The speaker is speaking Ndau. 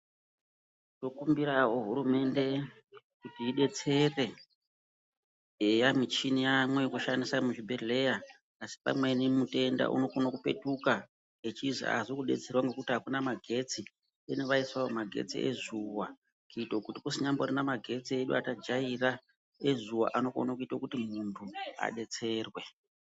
Tinokumbiravo hurumende kuti ibetsere eya muchini yaamo yekushandisa muzvibhedhleya. Asi pamweni mutenda unokone kupetika echizi haazi kubetserwa ngekuti hakuna magetsi deno vaisavo magetsi ezuva. kuite kuti kusinyamborina magetsi edu atajaira ezuva anokona kuti muntu abetserwe.